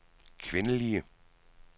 kvindelige